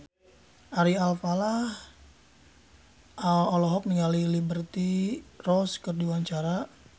Ari Alfalah olohok ningali Liberty Ross keur diwawancara